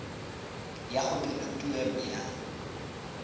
ya go dira tuelo ya